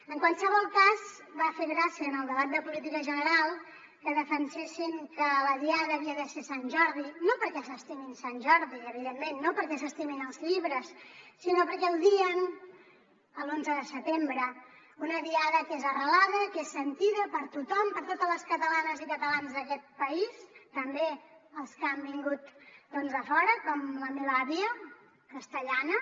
en qualsevol cas va fer gràcia en el debat de política general que defensessin que la diada havia de ser sant jordi no perquè s’estimin sant jordi evidentment no perquè s’estimin els llibres sinó perquè odien l’onze de setembre una diada que és arrelada que és sentida per tothom per totes les catalanes i catalans d’aquest país també els que han vingut doncs de fora com la meva àvia castellana